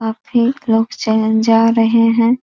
और फिर लोग चलन जा रहे हैं |